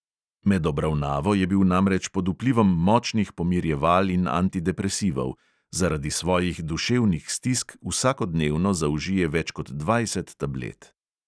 Med obravnavo je bil namreč pod vplivom močnih pomirjeval in antidepresivov; zaradi svojih duševnih stisk vsakodnevno zaužije več kot dvajset tablet.